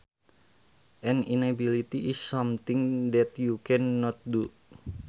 An inability is something that you can not do